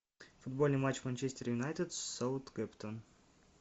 футбольный матч манчестер юнайтед саутгемптон